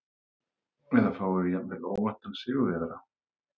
Eða fáum við jafnvel óvæntan sigurvegara?